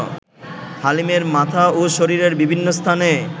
হালিমের মাথা ও শরীরের বিভিন্ন স্থানে